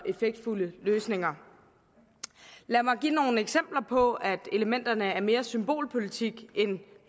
effektfulde løsninger lad mig give nogle eksempler på at elementerne er mere symbolpolitik end